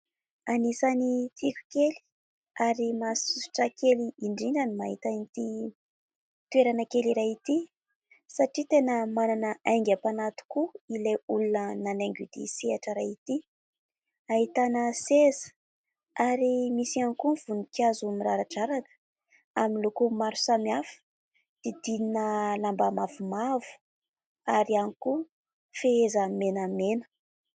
Anisan'ny tiko kely ary mahasosotra kely indrindra ny mahita ity toerana kely iray ity, satria tena manana aingam-panahy tokoa ilay olona nanaingo ity sehatra iray ity. Ahitana seza ary misy ihany koa ny voninkazo miraradraraka amin'ny loko maro samihafa didinina lamba mavomavo ary iany koa fehezany menamena.